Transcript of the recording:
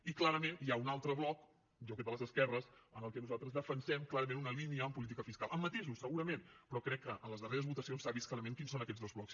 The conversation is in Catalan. i clarament hi ha un altre bloc jo crec de les esquerres en què nosaltres defensem clarament una línia en política fiscal amb matisos segurament però crec que a les darreres votacions s’ha vist clarament quins són aquests dos blocs